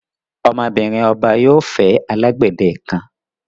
Ọmọ-binrin ọbà yóò fẹ́ alágbedẹ̀ kan.